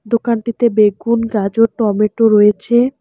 দোকানটিতে বেগুন গাজর টমেটো রয়েছে।